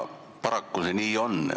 Paraku see nii on.